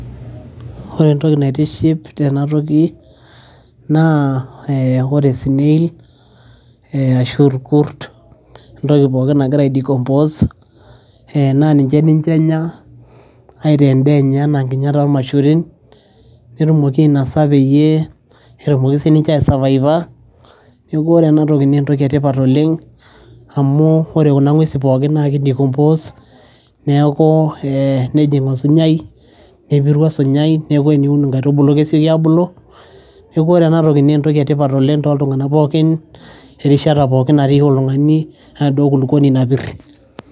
ore entoki naitiship tena toki naa ee ore snail ee ashu irkurt entoki pookin nagira aedikompos ee naa ninche enya aitaa endaa enye enaa nkinyat ormaisurin netumoki ainosa peyie etumoki sininche aesavaiva neeku ore enatoki naa entoki etipat oleng amu ore kuna ng'uesi pookin naa kidikompos neeku ee nejing osunyai nepiru osunyai neeku teniun inkaitubulu kesiooki abulu neeku ore ena toki naa entoki etipat oleng toltung'anak pookin erishata pookin natii oltung'ani enaduo kulukuoni napirr.